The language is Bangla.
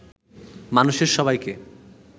মানুষের সবাইকে